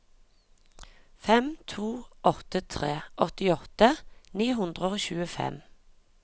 fem to åtte tre åttiåtte ni hundre og tjuefem